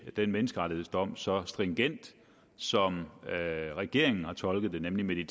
den menneskerettighedsdom så stringent som regeringen har tolket den nemlig